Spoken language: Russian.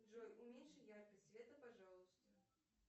джой уменьши яркость света пожалуйста